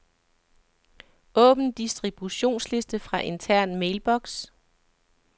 Åbn distributionsliste fra intern mailbox.